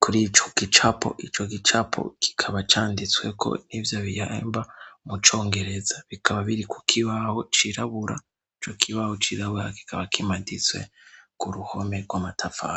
kur'ico gicapo. Ico gicapo kikaba canditsweko n'ivyo bihimba mu congereza. Bikaba biri ku kibaho cirabura. Ico kibaho cirabura kikaba kimaditswe k'uruhome rw'amatafari.